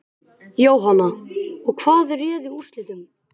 Jóhanna: Og hvað réði úrslitum?